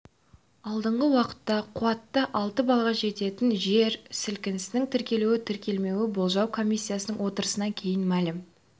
алдағы уақытта қуаты алты балға жететін жер сілкінісінің тіркелу тіркелмеуі болжау комиссиясының отырысынан кейін мәлім